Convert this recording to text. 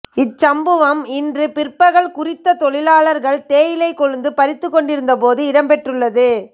இச்சம்பவம் இன்று பிற்பகல் குறித்த தொழிலாளர்கள் தேயிலை கொழுந்து பறித்துகொண்டிருந்தபோது இடம்பெற்றுள்ளது